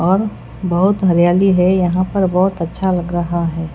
और बहोत हरियाली है यहां पर बहोत अच्छा लग रहा है।